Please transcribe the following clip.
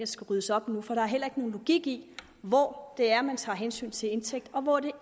skal ryddes op nu for der er heller ikke nogen logik i hvor det er man tager hensyn til indtægt og hvor det